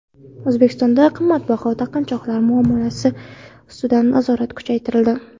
O‘zbekistonda qimmatbaho taqinchoqlar muomalasi ustidan nazorat kuchaytirildi.